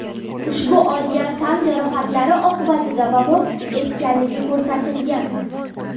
ushbu olgan tan jarohatlari oqibatida vafot etganligi ko‘rsatilgan.